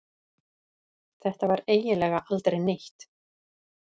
Þetta var eiginlega aldrei neitt.